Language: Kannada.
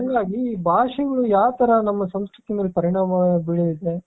ಅಲ್ಲ ಇಲ್ಲಿ ಭಾಷೆಗಳು ಯಾವ್ತರ ನಮ್ಮ ಸಂಸ್ಕೃತಿ ಮೇಲೆ ಪರಿಣಾಮ ಬೀರುತ್ತೆ.